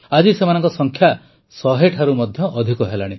ଆଜି ସେମାନଙ୍କ ସଂଖ୍ୟା ଶହେ ଠାରୁ ମଧ୍ୟ ଅଧିକ ହେଲାଣି